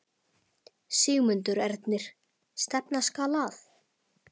Sigmundur Ernir: Stefna skal að?